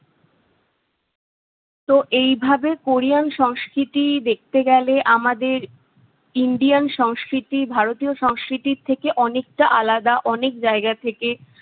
তো এইভাবে কোরিয়ান সংস্কৃতি দেখতে গেলে আমাদের ইন্ডিয়ান সংস্কৃতি, ভারতীয় সংস্কৃতি থেকে অনেকটা আলাদা অনেক জায়গা থেকে